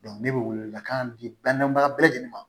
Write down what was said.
ne bɛ welewelekan di banabaga bɛɛ lajɛlen ma